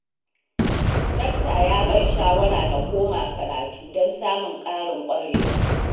Dakta ya ban shawara na koma karatu don samun ƙarin ƙwarewa